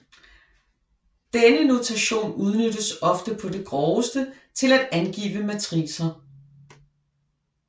Denne notation udnyttes ofte på det groveste til at angive matricer